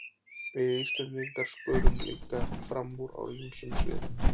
Við Íslendingar skörum líka fram úr á ýmsum sviðum.